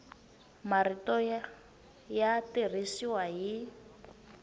ya marito ya tirhisiwa hi